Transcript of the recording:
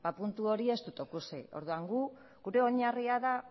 puntu hori ez dut ikusi orduan gure oinarria da